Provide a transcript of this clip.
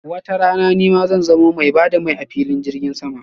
watarana nima zan zamo mai ba da mai a filin jirgin sama.